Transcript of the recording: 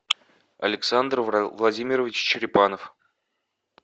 александр владимирович черепанов